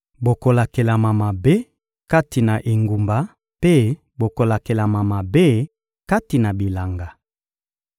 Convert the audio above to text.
Bokolakelama mabe kati na engumba mpe bokolakelama mabe kati na bilanga.